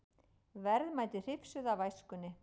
Verðmæti hrifsuð af æskunni